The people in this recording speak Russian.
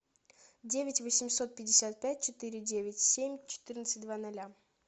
девять восемьсот пятьдесят пять четыре девять семь четырнадцать два ноля